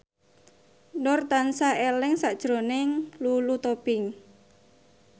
Nur tansah eling sakjroning Lulu Tobing